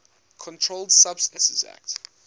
controlled substances acte